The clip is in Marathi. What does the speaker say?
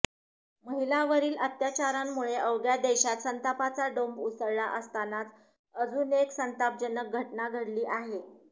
महिलांवरील अत्याचारांमुळे अवघ्या देशात संतापाचा डोंब उसळला असतानाच अजून एक संतापजनक घटना घडली आहे